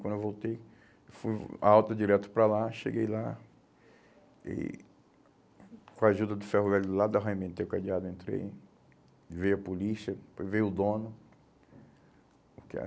Quando eu voltei, fui a alta direto para lá, cheguei lá e, com a ajuda do ferro velho do lado arrebentei o cadeado, entrei, veio a polícia, veio o dono, o que há.